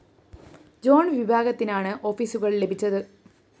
John വിഭാഗത്തിനാണ് ഓഫീസുകള്‍ ലഭിച്ചത്